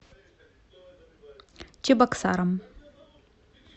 чебоксарам